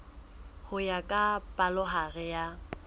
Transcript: ho ya ka palohare ya